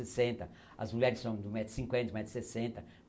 sessenta As mulheres são de um metro e cinquenta um metro e sessenta